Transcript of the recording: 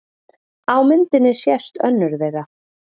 Á myndinni sést önnur þeirra.